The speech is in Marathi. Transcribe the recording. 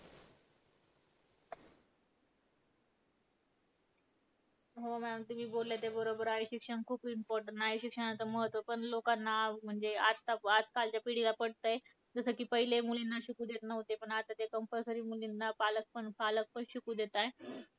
हो maam, तुम्ही बोलले ते बरोबर आहे. शिक्षण खूप important आहे. शिक्षणाचं महत्त्व पण लोकांना म्हणजे आज आजकालच्या पिढीला पटतंय. जसं की पहिले मुलींना शिकू देत नव्हते, पण आता ते compulsory मुलींना पालक पण पालक पण शिकू देत आहेत.